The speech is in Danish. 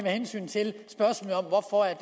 til